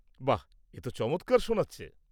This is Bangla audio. বাহ! এ তো চমৎকার শোনাচ্ছে।